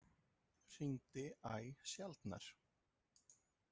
Hringdi æ sjaldnar.